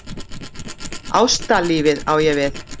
Ástalífið á ég við.